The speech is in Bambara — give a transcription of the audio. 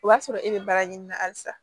O b'a sɔrɔ e bɛ baara ɲini na halisa